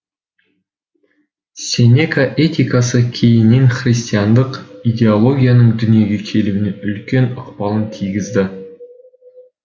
сенека этикасы кейінен христиандық идеологияның дүниеге келуіне үлкен ықпалын тигізді